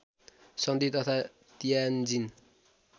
सन्धि तथा तियान्जिन